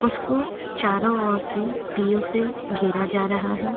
उसको चारों और से दीयों से घेरा जा रहा है।